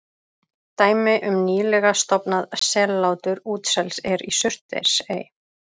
dæmi um nýlega „stofnað“ sellátur útsels er í surtsey